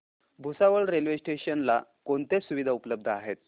Bhusawal railway station ला कोणत्या सुविधा उपलब्ध आहेत